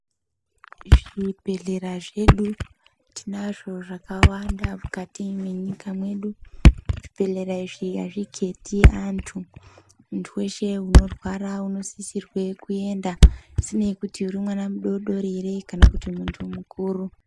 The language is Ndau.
Zvibhehlera zvedu tinazvo zvakawanda mukati mwenyika mwedu zvibhehlera izvi azviketi antu muntu weshe unorwara unosisirwe kuenda zvisinei kuti urimwana mudodori ere kana muntu mukuru.